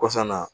Kɔsa in na